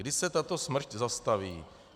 Kdy se tato smršť zastaví?